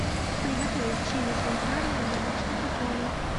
приготовить чили кон карне в домашних условиях